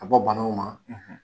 bɔ banaw ma.